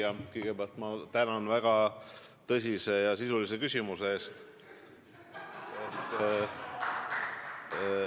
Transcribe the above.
Hea küsija, kõigepealt ma tänan väga tõsise ja sisulise küsimuse eest!